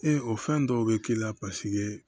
Ee o fɛn dɔw be k'i la paseke